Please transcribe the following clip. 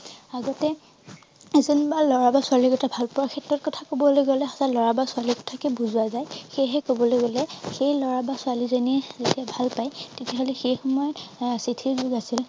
আগতে এজন লৰা বা ছোৱালীৰ কথা ভালপোৱাৰ ক্ষেত্ৰত কথা কবলৈ গলে লৰা বা ছোৱালী কথাকে বুজোৱা যায় সেইহে কবলৈ গলে সেই লৰা বা ছোৱালী জনীয়ে যেতিয়া ভালপায় তেতিয়া হলে সেই সময়ত এৰ চিঠিৰ যোগ আছিল